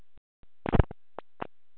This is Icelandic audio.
Vitið þið hvað ég ætla að prédika í dag?